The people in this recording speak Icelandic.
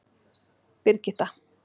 Birgitta